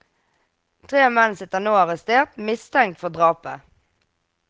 Tre menn sitter nå arrestert, mistenkt for drapet.